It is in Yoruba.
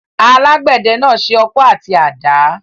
Alágbẹ̀dẹ náà se ọkọ́ àti àdá.